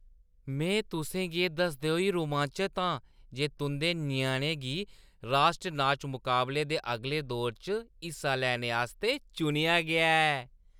में तुसें गी एह् दसदे होई रोमांचत आं जे तुंʼदे ञ्याणे गी राश्ट्र नाच मकाबले दे अगले दौर च हिस्सा लैने आस्तै चुनेआ गेआ ऐ।